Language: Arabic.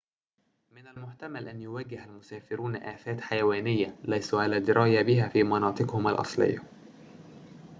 من المحتمل أن يواجه المسافرون آفات حيوانية ليسوا على دراية بها في مناطقهم الأصلية